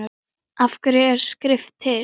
Af hverju er skrift til?